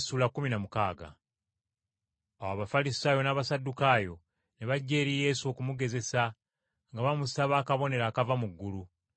Awo Abafalisaayo n’Abasaddukaayo ne bajja eri Yesu okumugezesa nga bamusaba akabonero akava mu ggulu.